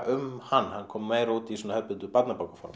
um hann hann kom meira út í svona hefðbundnu